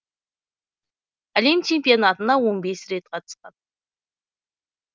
әлем чемпионатына он бес рет қатысқан